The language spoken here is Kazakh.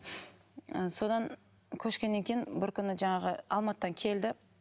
ы содан көшкеннен кейін бір күні жаңағы алматыдан келді